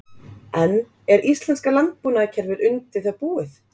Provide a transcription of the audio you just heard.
En er íslenska landbúnaðarkerfið undir það búið?